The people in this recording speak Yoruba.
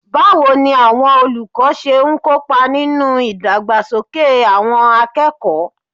Báwo làwọn olùkọ́ ṣe ń kópa nínú ìdàgbàsókè àwọn akẹ́kọ̀ọ́?